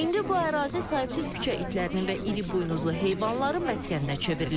İndi bu ərazi sahibsiz küçə itlərinin və iri buynuzlu heyvanların məskəninə çevrilib.